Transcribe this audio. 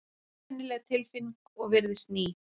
Einkennileg tilfinning og virðist ný.